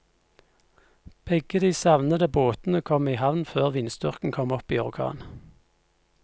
Begge de savnede båtene kom i havn før vindstyrken kom opp i orkan.